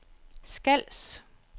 Skals